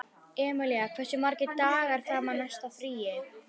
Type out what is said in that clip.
Emilía, hversu margir dagar fram að næsta fríi?